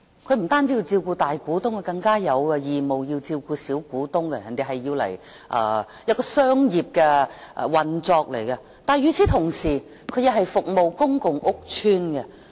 它不單要照顧大股東，更有義務要照顧小股東，是商業運作，但與此同時，它也為公共屋邨服務。